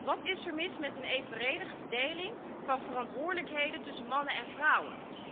Wat is er mis met een evenredige verdeling van verantwoordelijkheden tussen mannen en vrouwen?